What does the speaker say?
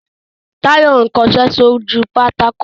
Táyọ̀ ń kọṣẹ́ sójú pátákó